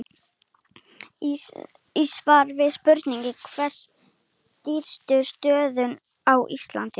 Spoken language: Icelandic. Í svari við spurningunni Hver eru dýpstu stöðuvötn á Íslandi?